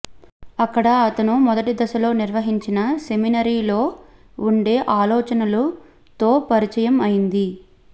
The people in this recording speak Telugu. అక్కడ అతను మొదటి దశలో నిర్వహించిన సెమినరీ లో ఉండే ఆలోచనలు తో పరిచయం అయింది